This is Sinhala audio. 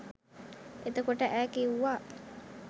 එතකොට ඈ කිව්වා